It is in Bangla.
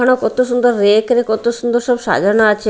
আরো কত সুন্দর রেক -রে কত সুন্দর সব সাজানো আছে।